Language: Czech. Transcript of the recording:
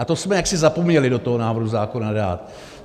A to jsme jaksi zapomněli do toho návrhu zákona dát.